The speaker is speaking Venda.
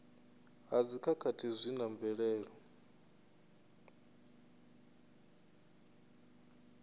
ha dzikhakhathi zwi na mvelelo